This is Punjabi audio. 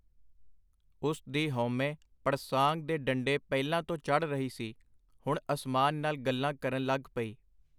ਉਸ ਦੀ ਹਉਮੈਂ ਪੜਸਾਂਗ ਦੇ ਡੰਡੇ ਪਹਿਲਾਂ ਤੋਂ ਚੜ੍ਹ ਰਹੀ ਸੀ, ਹੁਣ ਅਸਮਾਨ ਨਾਲ ਗੱਲਾਂ ਕਰਨ ਲੱਗ ਪਈ.